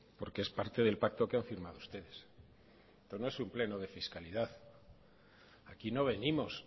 porque es parte del pacto que han firmado ustedes esto no es un pleno de fiscalidad aquí no venimos